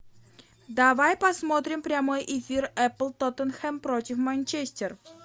давай посмотрим прямой эфир апл тоттенхэм против манчестер